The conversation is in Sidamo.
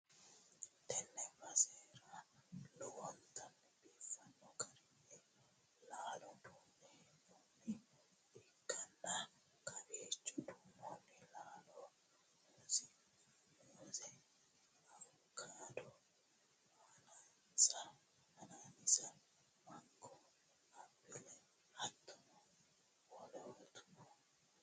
tee basera lowontanni biifanno garinni laalo duunne hee'noonniha ikkanna, kowiicho duunnonni laalono muuze, awukaado, anaanaase, mango, appile hattono wolootuno no.